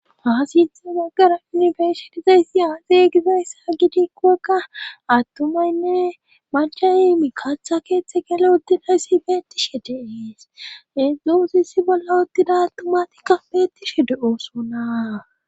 Ha sithe baggara yunifersitizayssi aazey gizayssa gidikkoekka attumaynne machayi mikaththa keeththe gele uddidayssi beettishe deees heedzdzoosissi bolla udtida attumatikka beettishe de7ooso naa